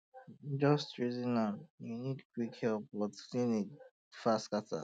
just reason am um you need quick help but um clinic far scatter